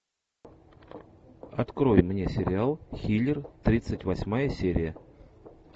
открой мне сериал хилер тридцать восьмая серия